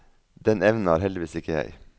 Den evnen har heldigvis ikke jeg.